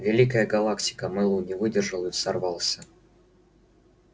великая галактика мэллоу не выдержал и взорвался